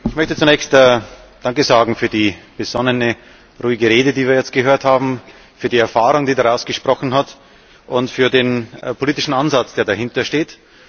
Ich möchte zunächst danke sagen für die besonnene, ruhige Rede, die wir gehört haben, für die Erfahrung, die daraus gesprochen hat, und für den politischen Ansatz, der dahinter steht.